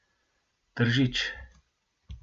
Tržič.